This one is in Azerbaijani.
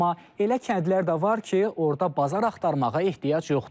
Amma elə kəndlər də var ki, orda bazar axtarmağa ehtiyac yoxdur.